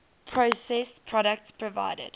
processed products provided